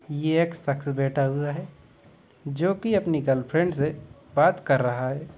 यह एक शख्स बैठा हुआ है जो कि अपनी गर्ल-फ्रेंड से बात कर रहा है।